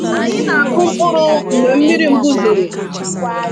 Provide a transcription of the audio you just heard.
Anyị nakụ mkpụrụ mgbe mmiri mbu zoro.